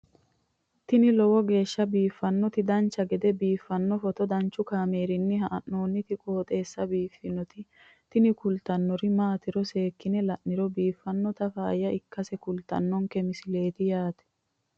ini lowo geeshsha biiffannoti dancha gede biiffanno footo danchu kaameerinni haa'noonniti qooxeessa biiffannoti tini kultannori maatiro seekkine la'niro biiffannota faayya ikkase kultannoke misileeti yaate